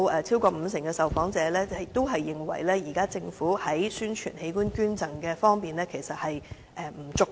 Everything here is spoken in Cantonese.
超過五成受訪者認為，現在政府在宣傳器官捐贈方面，做得不足夠。